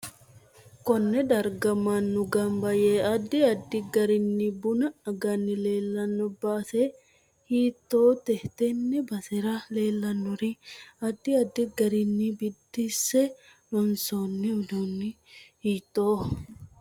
Konne darga mannu ganba yee addi addi garinnu bunna aganni leelanno baae hiitoote tenne basera leelanori addi addi garinni biidinse loonsoni uduuni hiitooho